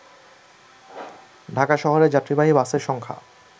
ঢাকা শহরে যাত্রীবাহী বাসের সংখ্যা